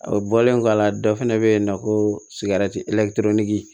O bɔlen kɔ a la dɔ fana bɛ yen nɔ ko sigɛriti